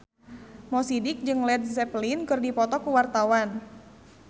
Mo Sidik jeung Led Zeppelin keur dipoto ku wartawan